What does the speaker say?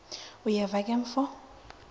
uyeva ke mfo